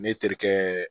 Ne terikɛ